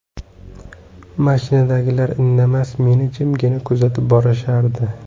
Mashinadagilar indamas, meni jimgina kuzatib borishardi.